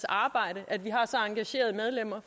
arbejde at vi har så engagerede medlemmer